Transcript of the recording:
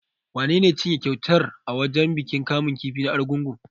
Wanene ya cinye kyautar a wajen bikin kamun kifi na Argungu?